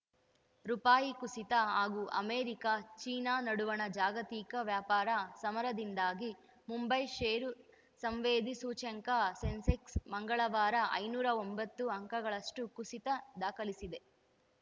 ರುಪಾಯಿ ಕುಸಿತ ಹಾಗೂ ಅಮೆರಿಕ ಚೀನಾ ನಡುವಣ ಜಾಗತಿಕ ವ್ಯಾಪಾರ ಸಮರದಿಂದಾಗಿ ಮುಂಬೈ ಷೇರು ಸಂವೇದಿ ಸೂಚ್ಯಂಕ ಸೆನ್ಸೆಕ್ಸ್‌ ಮಂಗಳವಾರ ಐನೂರ ಒಂಬತ್ತು ಅಂಕಗಳಷ್ಟುಕುಸಿತ ದಾಖಲಿಸಿದೆ